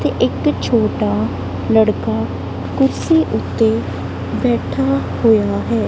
ਤੇ ਇੱਕ ਛੋਟਾ ਲੜਕਾ ਕੁਰਸੀ ਉੱਤੇ ਬੈਠਾ ਹੋਇਆ ਹੈ।